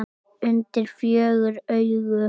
Undir fjögur augu.